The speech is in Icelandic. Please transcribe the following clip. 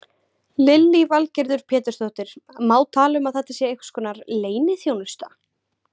Lillý Valgerður Pétursdóttir: Má tala um að þetta sé einhverskonar leyniþjónusta?